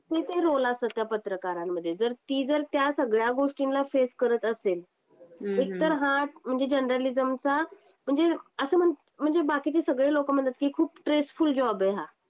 हे ते रोल असतात त्या पत्रकारांमध्ये जर ती जर त्या सगळ्या गोष्टीला फेस करत असेल. एकतर हा म्हणजे जर्नलिझमचा म्हणजे असं म्हणजे बाकीचे सगळे लोक म्हणतात की खूप स्ट्रेसफुल जॉब आहे हा.